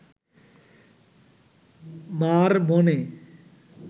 মার মনে